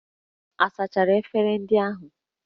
A sachara efere ndị ahụ?